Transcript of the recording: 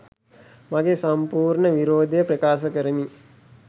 මගේ සම්පූර්ණ විරෝධය ප්‍රකාශ කරමි.